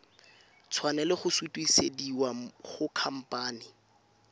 tshwanela go sutisediwa go khamphane